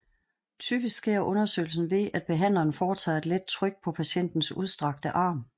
Typisk sker undersøgelsen ved at behandleren foretager et let tryk på patientens udstrakte arm